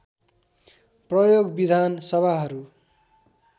प्रयोग विधान सभाहरू